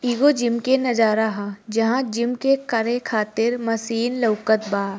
एगो जिम के नजर ह जहा जिम करे खातिर मशीन लोकत बा ।